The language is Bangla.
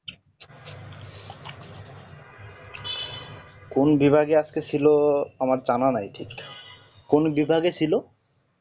কোন বিভাগে আজকে ছিল আমার জানা নাই কোন বিভাগে ছিল